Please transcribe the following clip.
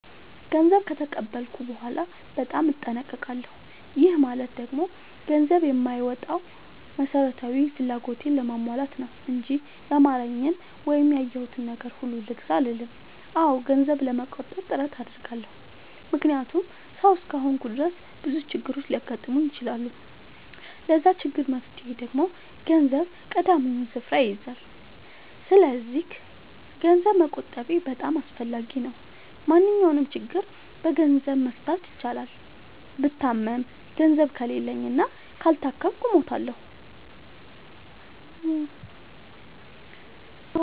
ገንዘብ ከተቀበልኩ በኋላ በጣም እጠነቀቃለሁ። ይህ ማለት ደግሞ ገንዘብ የማወጣው መሠረታዊ ፍላጎቴን ለማሟላት ነው እንጂ ያማረኝን ወይም ያየሁትን ነገር ሁሉ ልግዛ አልልም። አዎ ገንዘብ ለመቆጠብ ጥረት አደርጋለሁ። ምክንያቱም ሠው እስከሆንኩኝ ድረስ ብዙ ችግሮች ሊያጋጥሙኝ ይችላሉ። ለዛ ችግር መፍትሄ ደግሞ ገንዘብ ቀዳሚውን ስፍራ ይይዛል። ሰስለዚክ ገንዘብ መቆጠቤ በጣም አስፈላጊ ነው። ማንኛውንም ችግር በገንዘብ መፍታት ይቻላል። ብታመም ገንዘብ ከሌለኝ እና ካልታከምኩ እሞታሁ።